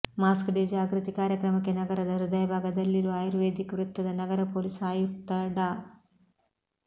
mask day ಜಾಗೃತಿ ಕಾರ್ಯಕ್ರಮಕ್ಕೆ ನಗರದ ಹೃದಯಭಾಗದಲ್ಲಿರುವ ಆಯುರ್ವೇದಿಕ್ ವೃತ್ತದ ನಗರ ಪೊಲೀಸ್ ಆಯುಕ್ತ ಡಾ